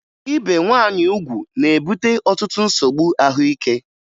Ibe nwaanyị ugwu na-ebute ọtụtụ nsogbu ahụike